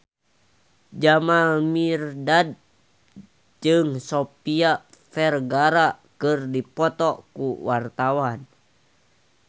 Jamal Mirdad jeung Sofia Vergara keur dipoto ku wartawan